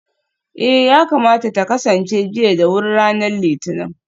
eh, yakamata ta kasance jiya da wuri ranar litinin